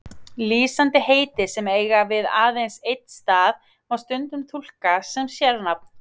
Lýsandi heiti sem eiga við aðeins einn stað má stundum túlka sem sérnafn.